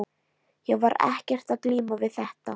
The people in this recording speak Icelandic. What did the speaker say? Ég var ekkert að glíma við þetta.